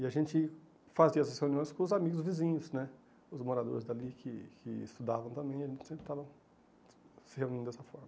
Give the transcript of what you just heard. E a gente fazia as reuniões com os amigos vizinhos né, os moradores dali que que estudavam também e a gente sempre estava se reunindo dessa forma.